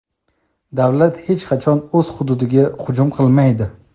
"Davlat hech qachon o‘z xududiga hujum qilmaydi".